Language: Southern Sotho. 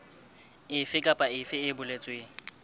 efe kapa efe e boletsweng